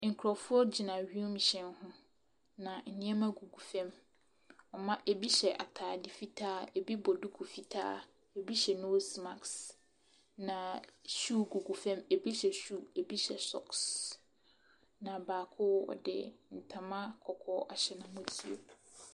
Nkorɔfoɔ gyina wiemhyɛn ho, na ɛneɛma gugu fɛm. Ebi hyɛ ataade fitaa, ebi bɔ duku fitaa, ebi bɔ noos mask. Na hyuu gugu fɛm, ebi hyɛ hyuu, ebi hyɛ sɔks. Na baako ɔde ntama kɔkɔɔ ahyɛ n'amɔtoam.